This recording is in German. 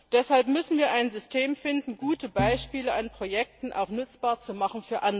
Deshalb müssen wir ein System finden, gute Beispiele an Projekten auch für andere nutzbar zu machen.